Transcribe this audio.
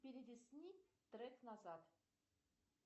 перелистни трек назад